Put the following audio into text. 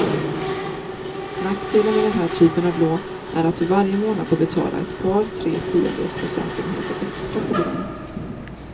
Nackdelen med den här typen av lån är att du varje månad får betala ett par, tre tiondels procentenheter extra på lånet.